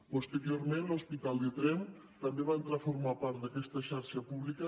posteriorment l’hospital de tremp també va entrar a formar part d’aquesta xarxa pública